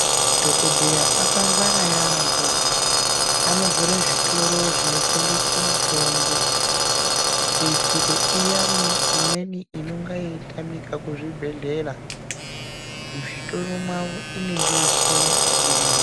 Madhokodheya akangwara yambo anovhure zvitoro zvinotengese mitombo veiitire iyani inenge yeitamike kuzvibhedhleya muzvitoro mwavo inenge yechioneka irimwo.